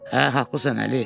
Hə, haqlısan Əli.